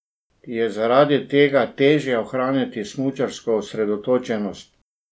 Je zaradi tega težje ohraniti smučarsko osredotočenost?